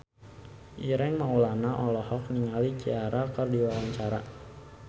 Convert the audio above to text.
Ireng Maulana olohok ningali Ciara keur diwawancara